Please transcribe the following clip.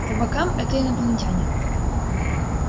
по бокам это инопланетяне